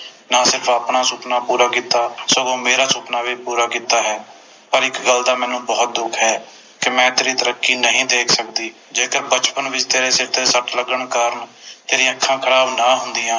ਨਾਲੇ ਤੂੰ ਆਪਣਾ ਸੁਪਨਾ ਪੂਰਾ ਕੀਤਾ ਸਗੋਂ ਮੇਰਾ ਸੁਪਨਾ ਵੀ ਪੂਰਾ ਕੀਤਾ ਹੈ ਪਰ ਇਕ ਗੱਲ ਦਾ ਮੈਨੂੰ ਬੋਹੋਤ ਦੁੱਖ ਹੈ ਕਿ ਮੈਂ ਤੇਰੀ ਤਰੱਕੀ ਨਹੀਂ ਦੇਖ ਸਕਦੀ ਜੇਕਰ ਬਚਪਨ ਵਿਚ ਤੇਰੇ ਸਿਰ ਤੇ ਸੱਟ ਲੱਗਣ ਕਾਰਣ ਤੇਰੀ ਅੱਖਾਂ ਖਰਾਬ ਨਾ ਹੁੰਦੀਆਂ